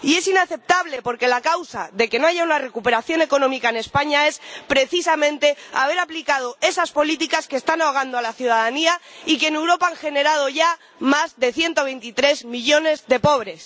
Y es inaceptable porque la causa de que no haya una recuperación económica en España es precisamente haber aplicado esas políticas que están ahogando a la ciudadanía y que en Europa han generado ya más de 123 millones de pobres.